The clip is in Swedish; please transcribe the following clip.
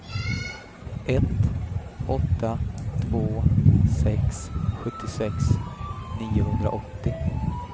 ett åtta två sex sjuttiosex niohundraåttio